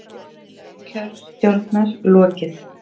Fundi landskjörstjórnar lokið